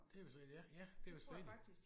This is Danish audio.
Det er vist rigtigt ja ja det er vist rigtigt